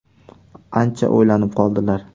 Ancha o‘ylanib qoldilar.